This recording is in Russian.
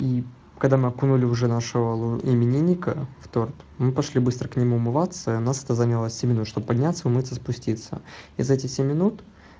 и когда мы окунули уже нашего именинника в торт мы пошли быстро к нему умываться у нас это заняло семь минут чтобы подняться умыться спуститься и за эти семи минут